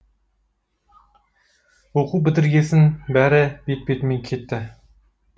оқу бітіргесін бәрі бет бетімен кетті